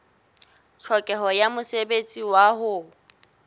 tlhokeho ya mosebetsi wa ho